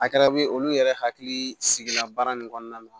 A kɛra be ye olu yɛrɛ hakili sigila baara nin kɔnɔna na